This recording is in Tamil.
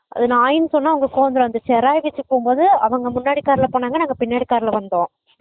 அத நாய் னு சொன்ன அவங்களுக்கு கோவம் வந்துரும் அந்த செராய் வச்சுருக்கும் போது அவங்க முன்னாடி car ல போனாங்க நாங்க பின்னாடி car ல வந்தோம்